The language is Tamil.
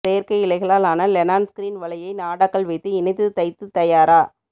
செயற்கை இழைகளால் ஆன வெலான் ஸ்கிரீன் வலையை நாடாக்கள் வைத்து இணைத்து தைத்து தயார